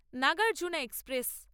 Nagarjuna express